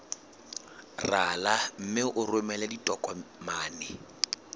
rala mme o romele ditokomene